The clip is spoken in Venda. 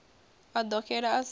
a ḓo xela a sa